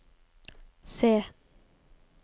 se